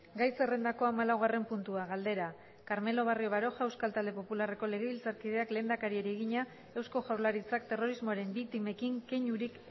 gai zerrendako hamalaugarren puntua galdera carmelo barrio baroja euskal talde popularreko legebiltzarkideak lehendakariari egina eusko jaurlaritzak terrorismoaren biktimekin keinurik